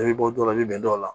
I bɛ bɔ dɔ la i bɛ bɛn dɔw la